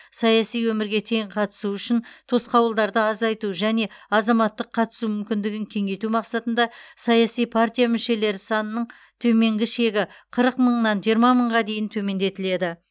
саяси өмірге тең қатысу үшін тосқауылдарды азайту және азаматтық қатысу мүмкіндігін кеңейту мақсатында саяси партия мүшелері санының төменгі шегі қырық мыңнан жиырма мыңға дейін төмендетіледі